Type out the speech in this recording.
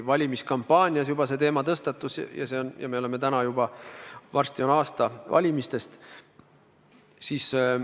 Valimiskampaania ajal see teema juba tõstatus ja varsti on aasta valimistest möödas.